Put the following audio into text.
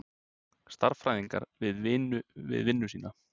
Stærðfræðingar við vinnu sína.